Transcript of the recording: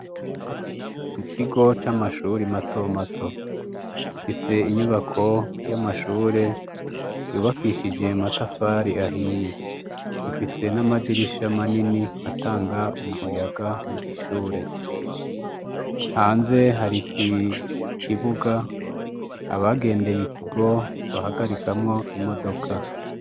Mu kigo c'amashuri mato mato ,ifise inyubako y'amashure yubakishije matafari ahiye ifise n'amadirisha manini atanga umuyaga mu ishure hanze hari kikibuga ,abagendeye ikigo bahagarikamwo imodoka.